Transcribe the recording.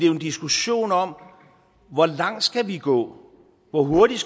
jo en diskussion om hvor langt vi skal gå hvor hurtigt